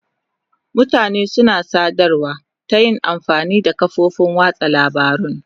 Mutane suna sadarwa ta yin amfani da kafofin watsa labarun.